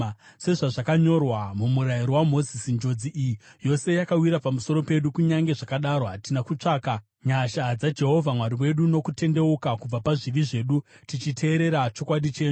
Sezvazvakanyorwa muMurayiro waMozisi, njodzi iyi yose yakawira pamusoro pedu, kunyange zvakadaro hatina kutsvaka nyasha dzaJehovha Mwari wedu nokutendeuka kubva pazvivi zvedu tichiteerera chokwadi chenyu.